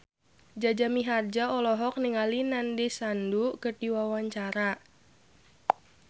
Jaja Mihardja olohok ningali Nandish Sandhu keur diwawancara